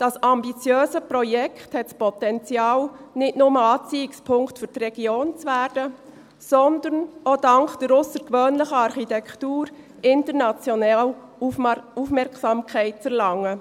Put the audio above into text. Das ambitiöse Projekt hat da Potenzial, nicht nur Anziehungspunkt für die Region zu werden, sondern auch dank der aussergewöhnlichen Architektur international Aufmerksamkeit zu erlangen.